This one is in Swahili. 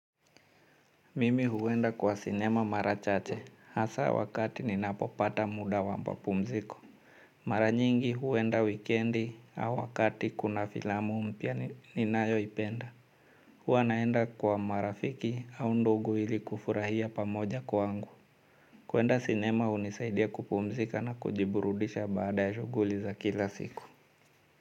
Mimi huwenda kwa sinema mara chache hasa wakati ninapopata muda wa mapumziko. Maravnyingi huwenda wikendi au wakati kuna filamu mpya ninayoipenda. Hua naenda kwa marafiki au ndugu ili kufurahia pamoja kwangu. Kwenda sinema hunisaidia kupumzika na kujiburudisha baada ya shughuli za kila siku.